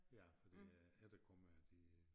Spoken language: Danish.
Ja fordi æ efterkommere de